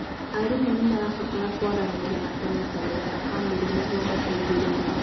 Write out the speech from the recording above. Arimũ nĩ marabatara kwaranĩria na kũnyitanĩra na famĩrĩ nĩguo mateithĩrĩrie.